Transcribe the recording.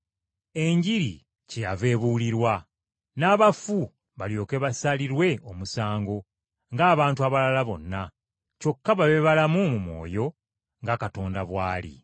Enjiri kyeyava ebuulirwa, n’abafu balyoke basalirwe omusango ng’abantu abalala bonna, kyokka babe balamu mu mwoyo nga Katonda bw’ali.